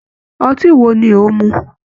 Ọtí wo ni ò ń mu?